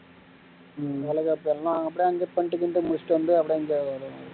முடிச்சுட்டு வந்து அப்படியே அங்க